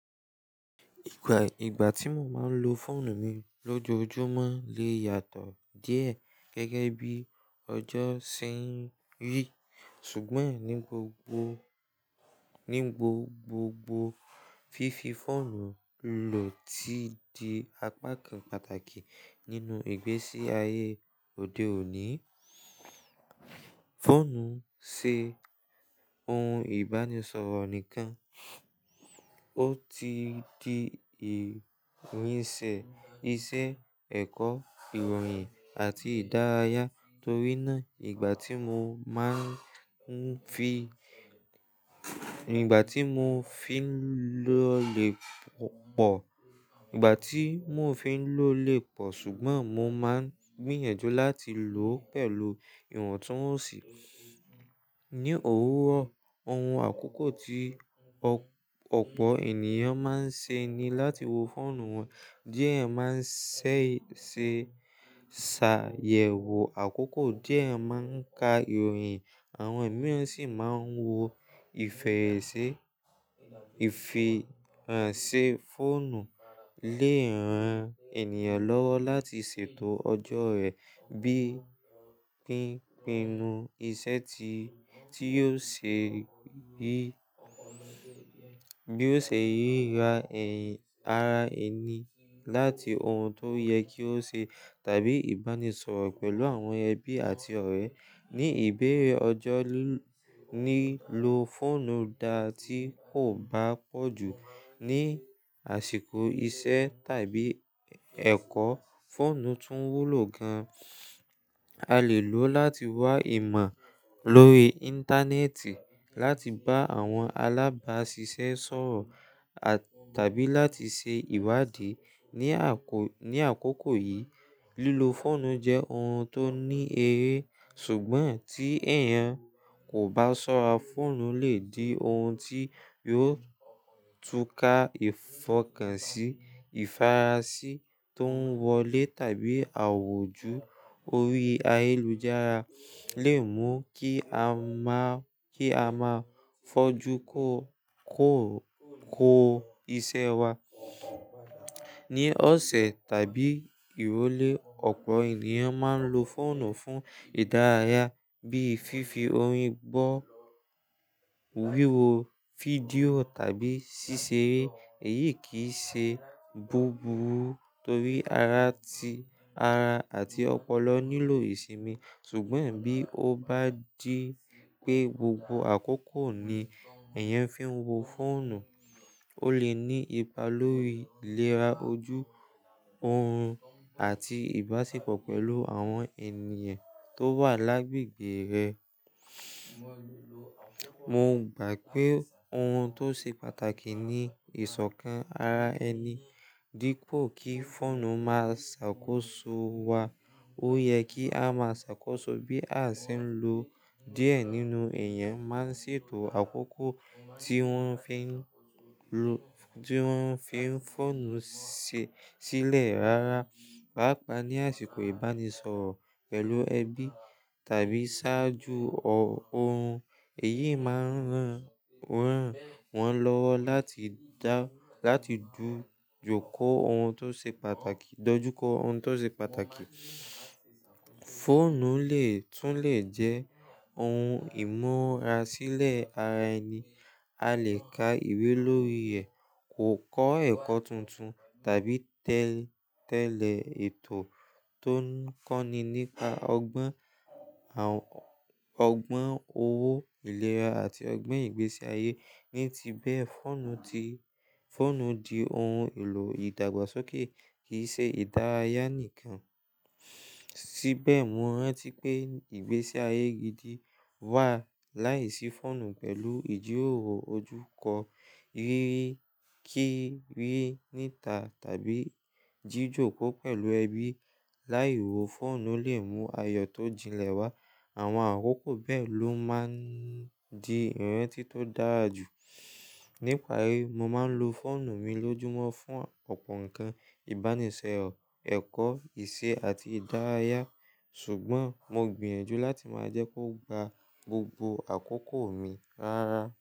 Gbà ìgbà tí mo máa ń lo fóònù mi lójoojúmọ́ lè yàtọ̀ díẹ̀ gẹ́gẹ́ bí ọjọ́ ṣe ń rí. Ṣùgbọ́n ní gbogbo ní gbo gbogbo fífi fóònù lò ti di apá kan pàtàkì nínú ìgbésí ayé òde òní. Fóònù ṣe ohun ìbánisọ̀rọ̀ nìkan, ó ti di ìrìnsẹ̀ iṣẹ́, ẹ̀kọ́, ìròyìn àti ìdárayá. Torí náà, ìgbà tí mo máa ń fi, ìgbà tí mo fi ń lò lè pọ̀, ìgbà tí mo fi ń lò lè pọ̀. Ṣùgbọ́n mo máa ń gbìyànjú láti lò ó pẹ̀lú ìwọ̀ntúnwọ̀nsì. Ní òwúrọ̀, ohun àkókò tí ọ̀pọ̀ ènìyàn máa ń ṣe ni láti wo fóònù wọn. Diẹ máa ń ṣẹ̀ ṣe ṣàyẹ̀wò àkókò, diẹ máa ń ka ìròyìn, àwọn èmíràn sí máa ń wo ìfẹ̀yẹ̀sẹ̀. Ìfihàn ṣe fóònù lè ran ènìyàn lọ́wọ́ láti ṣètò ọjọ́ rẹ̀ bí i pínpínnu iṣẹ́ ti tí yóò ṣe rí bí ó ṣe yíí ra ẹ̀yin ara ẹni láti ohun tó yẹ kí ó ṣe tàbí ìbánisọ̀rọ̀ pẹ̀lú àwọn ẹbí àti ọ̀rẹ́. Ní ìbéèrè ọjọ́ nílò fóònù dá tí kò bá pọ̀ jù. Ní àsìkò iṣẹ́ tàbí ẹ̀kọ́, fóònù tún wúlò gan-an. A lè lò ó láti wá ìmọ̀ lórí Íńtánẹ́ẹ̀tì, láti bá àwọn alábáṣiṣẹ́ sọ̀rọ̀ à tàbí láti ṣe ìwádìí. Ni àkókò yìí, lílo fóònù jẹ́ ohun tó ní eré. Ṣùgbọ́n tí èèyàn kò bá ṣọ́ra, fóònù lè di ohun tí yóò túká ìfọkànsí, ìfarasí tó ń wọlé tàbí àwòjú orí ayélujára lè mú kí a máa kí a máa fojú kó kó kó iṣẹ́ wa. Ní ọ̀sẹ̀ tàbí ìrólé, ọ̀pọ̀ ènìyàn máa ń lo fóònù fún ìdárayá bíi fífi orin gbọ́, wíwo fídíò tàbí ṣíṣe eré. Èyí kì í ṣe búburú torí ara ti ara àti ọpọlọ nílò ìsinmi. Ṣùgbọ́n bí ó bá dí pé gbogbo àkókò ni èèyàn fi ń wo fóònù, ó lè ní ipa lórí ìlera ojú, oorun àti ìbáṣepọ̀ pẹ̀lú àwọn ènìyàn tó wà lágbègbè rẹ̀. Mo gbà pé ohun tó ṣe pàtàkì ni ìsọ̀kan ara ẹni dípò kí fóònù máa ṣàkóso wa. Ó yẹ kí a máa ṣàkóso bí a ṣe ń lò ó. Diẹ nínú èèyàn máa ń ṣètò àkókò tí wọ́n fi ń lo tí wọ́n fi ń fóònù si sílẹ̀ ráárá, pàápàá ní àsìkò ìbánisọ̀rọ̀ pẹ̀lú ẹbí tàbí ṣáájú ọ̀hún. Èyí máa ń ràn wọ́n lọ́wọ́ láti dá láti jókòó ohun tó ṣe pàtàkì dojúkọ ohun tó ṣe pàtàkì. Fóònù lè tún lè jẹ́ ohun ìmúrasílẹ̀ ara ẹni. A lè ka ìwé lórí ẹ̀, kò kọ́ ẹ̀kọ́ tuntun tàbí tẹ̀lé tẹ́lẹ̀ ètò tó ń kọ́ni nípa ọgbọ́n, ọgbọ́n owó, ìlera àti ọgbọ́n ìgbésí ayé. Ní ti bẹ́ẹ̀, fóònù ti fóònù di ohun èlò ìdàgbàsókè, kì í ṣe ìdárayá nìkan. Síbẹ̀, mọ rántí pé ìgbésí ayé gidi wà láìsí fóònù pẹ̀lú ìjíròrò ojúkọ, rírí kí rí níta tàbí jíjókòó pẹ̀lú ẹbí. Láì wo fóònù lè mú ayọ̀ tó jinlẹ̀ wá. Àwọn àkókò bẹ́ẹ̀ ló máa ń di ìrántí tó dára jù. Ní ìparí, mo máa ń lo fóònù mi lójúmọ́ fún ọ̀pọ̀ nǹkan: ìbánisọ̀rọ̀, ẹ̀kọ́, ìṣe àti ìdárayá. Ṣùgbọ́n mo gbìyànjú láti máa jẹ́ kó gba gbogbo àkókò mi ráárá.